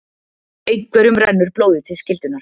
Einhverjum rennur blóðið til skyldunnar